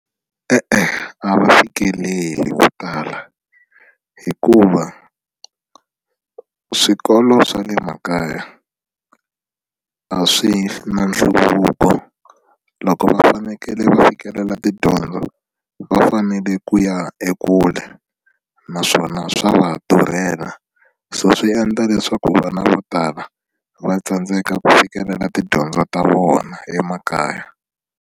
E-e a va fikeleli vo tala hikuva swikolo swa le makaya a swi na nhluvuko loko va fanekele va fikelela tidyondzo va fanele ku ya ekule naswona swa va durhela so swi endla leswaku vana vo tala va tsandzeka ku fikelela tidyondzo ta vona emakaya.